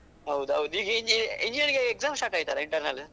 ಹೌದುದು, ಈಗ engineering ಗೆ exam start ಆಯ್ತಲ್ಲ internal .